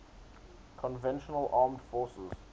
conventional armed forces